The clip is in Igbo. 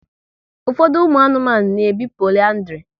Ụfọdụ ụmụ anụmanụ na ebi poliandri